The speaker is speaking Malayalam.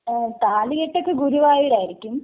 താലികെട്ടൊക്കെ ഗുരുവായൂരായിരിക്കും..